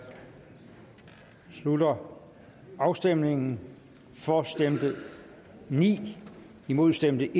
slutter afstemningen for stemte ni imod stemte